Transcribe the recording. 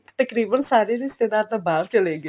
ਤਕਰੀਬਨ ਸਾਰੇ ਰਿਸ਼ਤੇਦਾਰ ਤਾਂ ਬਾਹਰ ਚਲੇ ਗਏ